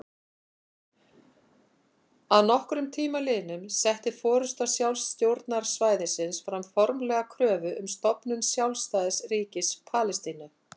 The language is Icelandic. Að nokkrum tíma liðnum setti forysta sjálfstjórnarsvæðisins fram formlega kröfu um stofnun sjálfstæðs ríkis Palestínu.